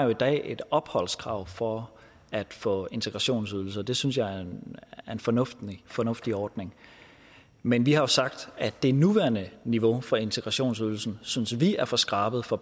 jo i dag et opholdskrav for at få integrationsydelse og det synes jeg er en fornuftig fornuftig ordning men vi har sagt at det nuværende niveau for integrationsydelsen synes vi er for skrabet for